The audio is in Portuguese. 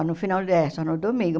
Só no final, é só no domingo.